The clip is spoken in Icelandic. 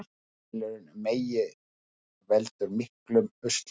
Fellibylurinn Megi veldur miklum usla